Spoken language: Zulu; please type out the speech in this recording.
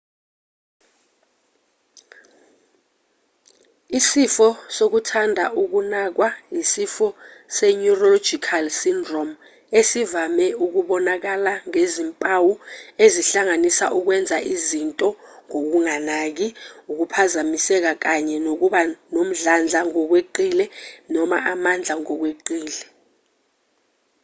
isifo sokuthanda ukunakwa yisifo se-neurological syndrome esivame ukubonakalangezimpawu ezihlanganisa ukwenza izinto ngokunganaki ukuphazamiseka kanye nokuba nomdlandla ngokweqile noma amandla ngokweqile